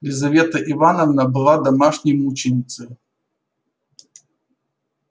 лизавета ивановна была домашней мученицею